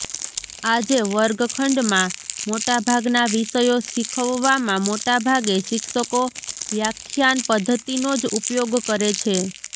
આજે વર્ગખંડમાં મોટાભાગના વિષયો શીખવવામાં મોટાભાગે શિક્ષકો વ્યાખ્યાન પદ્ધતિનો જ ઉપયોગ કરે છે